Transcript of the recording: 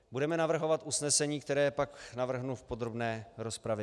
Budeme navrhovat usnesení, které pak navrhnu v podrobné rozpravě.